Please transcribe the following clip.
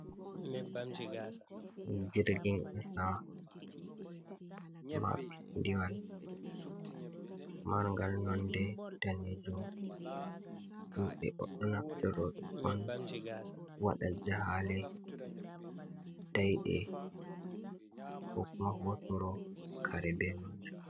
Jirgin kasa, mapindiwal, marngal nonde daneejum. Himɓe ɗon naftoro ɗum on, waɗa jahaale daiɗe, ko kuma hosoro kare be maajum.